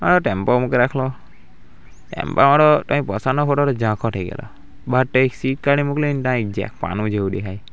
આ ટેમ્પો મૂકી રાખલો ટેમ્પા વાળો કંઈ પસાડનો ફોટો ઝાંખો થઈ ગેલો બાર તાં સીટ કાઢી મૂકેલી તાં એક જાક પાનું જેવુ દેખાય.